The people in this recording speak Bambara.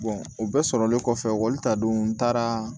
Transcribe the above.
o bɛɛ sɔrɔlen kɔfɛ ekɔli ta don n taara